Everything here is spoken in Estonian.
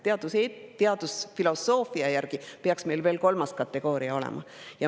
Teadusfilosoofia järgi peaks meil veel kolmas kategooria olema.